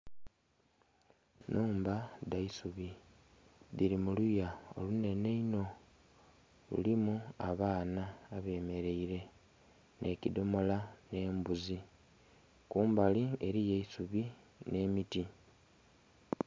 Nhumba dha isubi, dhili mu luya olunenhe inho. Lulimu abaana abemeleile, nhe kidhomola, nh'embuzi. Kumbali eliyo eisubi nh'emiti.